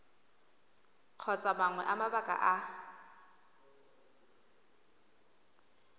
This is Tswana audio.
kgotsa mangwe a mabaka a